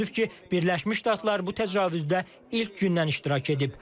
Təəssüf ki, Birləşmiş Ştatlar bu təcavüzdə ilk gündən iştirak edib.